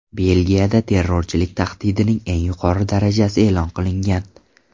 Belgiyada terrorchilik tahdidining eng yuqori darajasi e’lon qilingan.